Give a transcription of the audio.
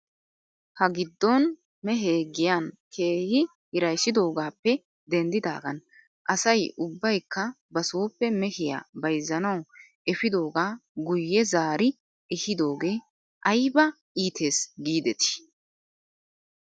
Ha giddon mehee giyan keehi hirayssidoogaappe denddidaagan asay ubbaykka basooppe mehiyaa bayzzanaw efiidoogaa guyye zaari ehiidoogee ayba iites giidetii .